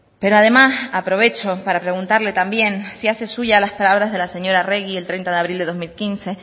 pero además aprovecho para preguntarle también si hace suyas las palabras de la señora arregi el treinta de abril del dos mil quince